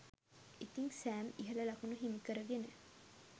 ඉතිං සෑම් ඉහල ලකුණු හිමිකරගෙන